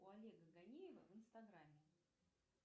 у олега ганеева в инстаграме